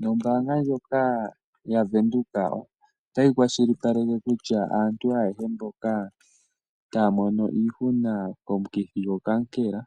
Nombanga ndjoka yaVenduka otayi kwashilipaleke kutya aantu ayehe mboka taya mono iihuna komukithi gokaankela